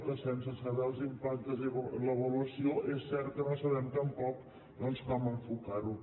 que sense saber els impactes ni l’avaluació és cert que no sabem tampoc com enfocar ho